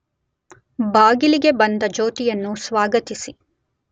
ಬಾಗಿಲಿಗೆ ಬಂದ ಜ್ಯೋತಿಯನ್ನು ಸ್ವಾಗತಿಸಿ